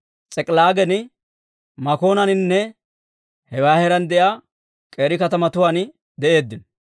S'ik'ilaagan, Makoonaaninne hewaa heeraan de'iyaa k'eeri katamatuwaan de'eeddino.